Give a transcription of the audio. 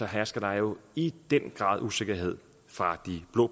hersker der jo i den grad usikkerhed fra de blå